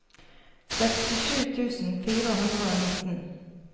sekstisju tusen fire hundre og nitten